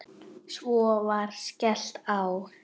Svo var skellt á.